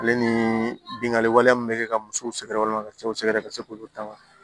Ale ni bingani waleya min bɛ kɛ ka musow sɛgɛrɛ walima ka cɛw sɛgɛrɛ ka se k'olu ta